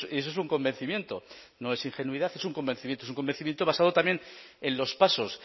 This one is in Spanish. eso es un convencimiento no es ingenuidad es un convencimiento es un convencimiento basado también en los pasos